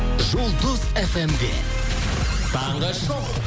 жұлдыз фм де таңғы шоу